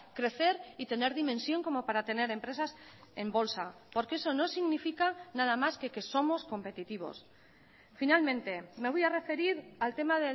crecer y tener dimensión como para tener empresas en bolsa porque eso no significa nada más que que somos competitivos finalmente me voy a referir al tema